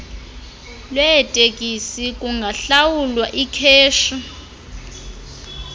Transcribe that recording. lweeteksi kungahlawulwa ikheshi